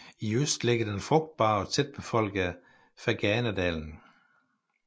I øst ligger den frugtbare og tætbefolkede Ferganadalen